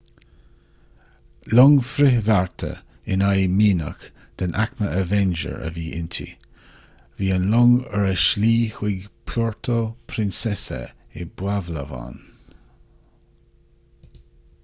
long frithbhearta in aghaidh mianach den aicme avenger a bhí inti bhí an long ar a slí chun puerto princesa i bpalawan